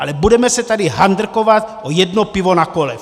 Ale budeme se tady handrkovat o jedno pivo na kole.